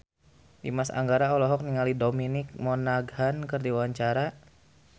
Dimas Anggara olohok ningali Dominic Monaghan keur diwawancara